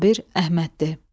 Sabir Əhməddir.